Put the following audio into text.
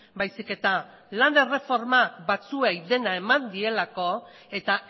baizik eta lan erreforma batzuei dena eman dielako eta